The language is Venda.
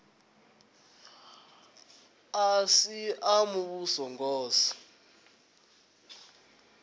a si a muvhuso ngos